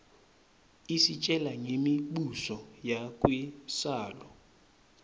isitjela ngemi buso yakuiszala